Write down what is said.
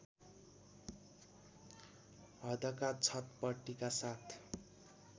हदका छटपटीका साथ